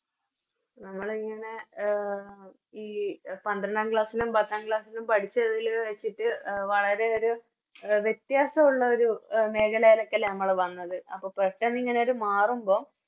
നമ്മളിങ്ങനെ ഈ പന്ത്രണ്ടാം Class ലും പത്താം Class ലും പഠിച്ച ഇതില് വെച്ചിട്ട് എ വളരെ ഒരു വെത്യസുള്ള ഒരു മേഖലെലക്കല്ലേ നമ്മള് വന്നത് അപ്പൊ പെട്ടെന്നിങ്ങനെ ഇത് മാറുമ്പോ